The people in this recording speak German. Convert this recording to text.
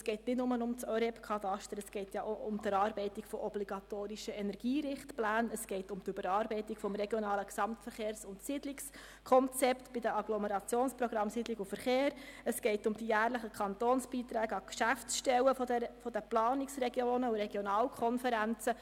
Es geht nicht nur um das ÖREB-Kataster, sondern auch um die Erarbeitung obligatorischer Energierichtpläne, um die Überarbeitung der RGSK bei den Agglomerationsprogrammen Siedlung und Verkehr sowie um die jährlichen Kantonsbeiträge an Geschäftsstellen der Planungsregionen und Regionalkonferenzen.